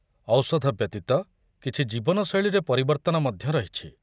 ଔଷଧ ବ୍ୟତୀତ, କିଛି ଜୀବନଶୈଳୀରେ ପରିବର୍ତ୍ତନ ମଧ୍ୟ ରହିଛି।